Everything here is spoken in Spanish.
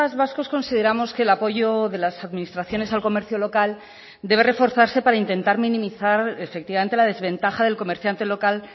vascos consideramos que el apoyo de las administraciones al comercio local debe reforzarse para intentar minimizar efectivamente la desventaja del comerciante local